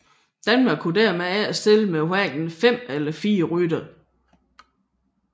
Danmark kunne dermed ikke stille med hverken fem eller fire ryttere